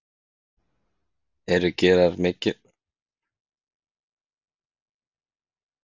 Eru gerar miklar væntingar til hans?